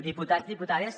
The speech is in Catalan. diputats diputades